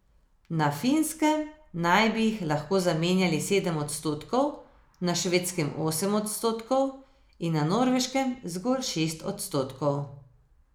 Na Finskem naj bi jih lahko zamenjali sedem odstotkov, na Švedskem osem odstotkov in na Norveškem zgolj šest odstotkov.